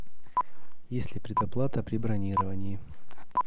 есть ли предоплата при бронировании